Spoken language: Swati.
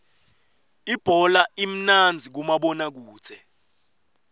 ibhola imnandzi kumabona kudze